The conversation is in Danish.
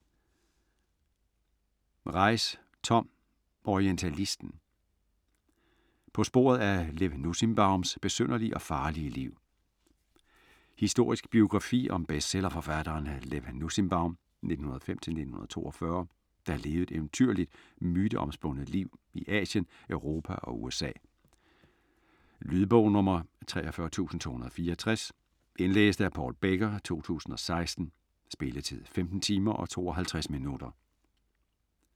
Reiss, Tom: Orientalisten: på sporet af Lev Nussimbaums besynderlige og farlige liv Historisk biografi om bestsellerforfatteren Lev Nussimbaum (1905-1942), der levede et eventyrligt, myteomspundet liv i Asien, Europa og USA. Lydbog 43264 Indlæst af Paul Becker, 2016. Spilletid: 15 timer, 52 minutter.